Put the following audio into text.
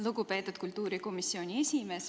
Lugupeetud kultuurikomisjoni esimees!